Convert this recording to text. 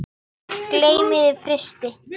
Geymið í frysti.